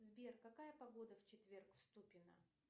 сбер какая погода в четверг в ступино